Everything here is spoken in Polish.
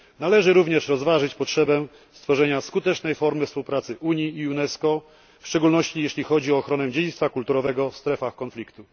Należy również rozważyć potrzebę stworzenia skutecznej formy współpracy Unii i UNESCO, w szczególności jeśli chodzi o ochronę dziedzictwa kulturowego w strefach konfliktu.